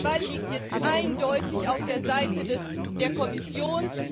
Der Ball liegt jetzt eindeutig auf der Seite der Kommission.